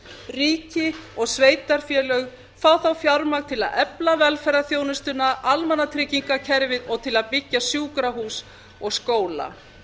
ríki og sveitarfélög fá þá fjármagn til að efla velferðarþjónustuna almannatryggingakerfið og til að byggja sjúkrahús og skóla